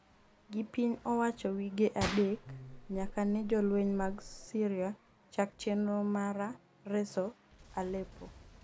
gi piny owacho wige adek nyaka ne jolweny mag Syria chak chenro mara reso Aleppo